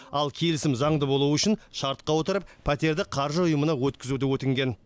ал келісім заңды болуы үшін шартқа отырып пәтерді қаржы ұйымына өткізуді өтінген